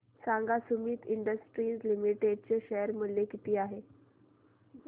सांगा Sumeet industries limited चे share मूल्य किती आहे